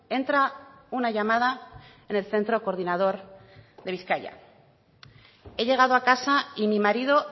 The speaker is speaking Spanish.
entra una llamada en el centro coordinador de bizkaia he llegado a casa y mi marido